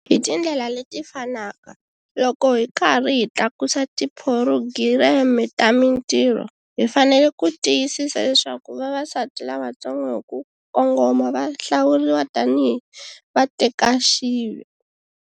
Hi tindlela leti fanaka, loko hi karhi hi tlakusa tiphurogireme ta mintirho, hi fanele ku tiyisisa leswaku vavasati lavantsongo hi ku kongoma va hlawuriwa tani hi vatekaxive.